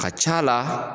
A ka c'a la